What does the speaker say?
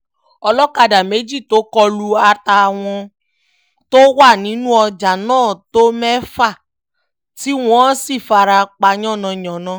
olókadà méjì tó kọ lù àtàwọn tó wà nínú ọjà náà tó mẹ́fà tí wọ́n sì fara pa yánnayànna